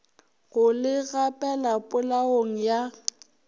go le gapela polaong ya